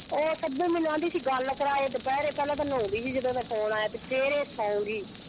ਉਹ ਕਦੋਂ ਮੈਨੂੰ ਆਂਹਦੀ ਸੀ ਗੱਲ ਕਰਾ ਦੇ ਦੁਪਹਿਰੇ ਪਹਿਲਾਂ ਤਾਂ ਨਾਉਂਦੀ ਸੀ ਜਦੋਂ ਉਹਦਾ ਫੋਨ ਆਇਆ ਤੇ ਫੇਰ ਇਹ ਸੌਂ ਗਈ।